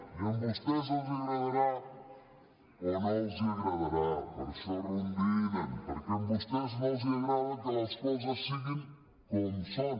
i a vostès els agradarà o no els agradarà per això rondinen perquè a vostès no els agrada que les coses siguin com són